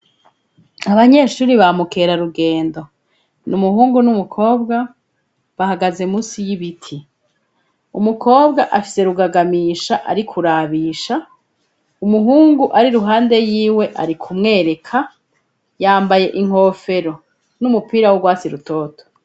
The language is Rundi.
Abanyeshuri bamukerarugendo. Ni umuhungu n'umukobwa bahagaze munsi y'ibiti. Umukobwa afise rugagamisha ari kurabisha, umuhungu ari iruhande yiwe ari kumwereka, yambaye inkofero n'umupira w'urwasi rutoto.